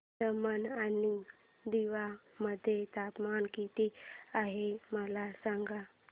दमण आणि दीव मध्ये तापमान किती आहे मला सांगा